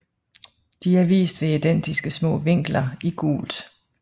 De er vist ved identiske små vinkler i gult